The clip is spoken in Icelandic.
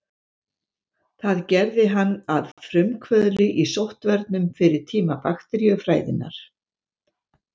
Það gerði hann að frumkvöðli í sóttvörnum fyrir tíma bakteríufræðinnar.